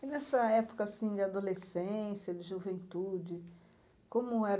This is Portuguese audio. E nessa época assim de adolescência, de juventude, como era?